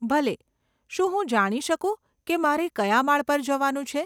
ભલે, શું હું જાણી શકું કે મારે કયા માળ પર જવાનું છે